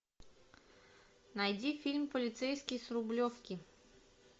найди фильм полицейский с рублевки